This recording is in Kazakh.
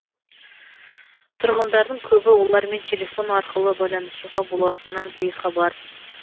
тұрғындардың көбі олармен телефон арқылы байланысуға болатынынан бейхабар